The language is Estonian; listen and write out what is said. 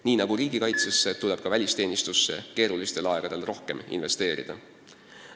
Nii nagu riigikaitsesse, tuleb ka välisteenistusse keerulistel aegadel rohkem investeerida.